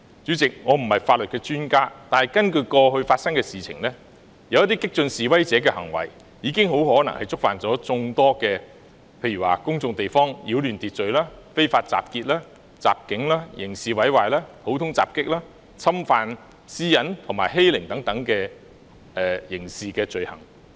主席，我不是法律專家，但觀乎過去發生的事情，有些激進示威者的行為很可能已觸犯在公眾地方擾亂秩序、非法集結、襲警、刑事毀壞、普通襲擊、侵犯私隱、欺凌等刑事罪行。